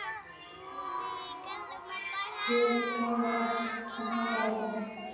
Hervar, opnaðu dagatalið mitt.